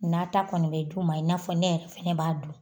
Na ta kɔni bɛ d'u ma, i n'a fɔ ne yɛrɛ fɛnɛ b'a dun